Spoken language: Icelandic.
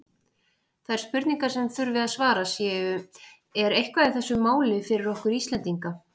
Þær spurningar, sem þurfi að svara séu: Er eitthvað í þessu máli fyrir okkur Íslendinga?